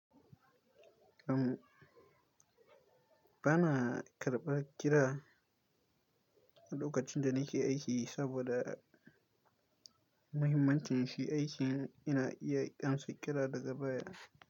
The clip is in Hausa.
Am, bana karɓar kira a lokacin da nake aiki saboda mahimmancin shi aikin ina iya amsa kira daga baya.